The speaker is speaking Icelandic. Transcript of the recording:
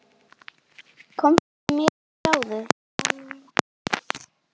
Komdu með mér og sjáðu.